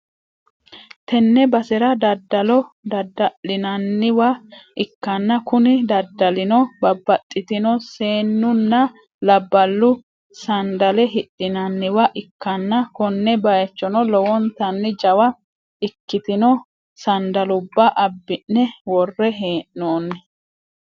Tenne basera daddalo dadda'linanniwa ikkanna, kuni daddalino babbaxxitino seennunna labballu sandale hidhinanniwa ikkanna, konne bayichono lowontanni jawa ikkitino sandalubba abbi'ne worre hee'noonni.